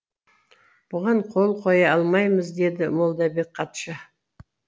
бұған қол қоя алмаймыз деді молдабек хатшы